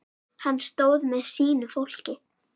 Hann stóð með sínu fólki.